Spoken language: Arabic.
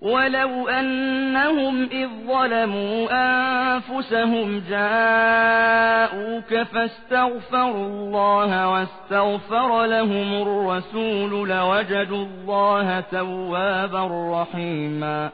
وَلَوْ أَنَّهُمْ إِذ ظَّلَمُوا أَنفُسَهُمْ جَاءُوكَ فَاسْتَغْفَرُوا اللَّهَ وَاسْتَغْفَرَ لَهُمُ الرَّسُولُ لَوَجَدُوا اللَّهَ تَوَّابًا رَّحِيمًا